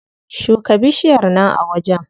Shuka bishiyar nan a wajen.